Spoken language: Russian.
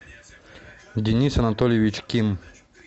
денис анатольевич ким